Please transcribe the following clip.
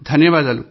ధన్యవాదాలు